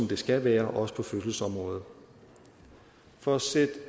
det skal være også på fødselsområdet for at sætte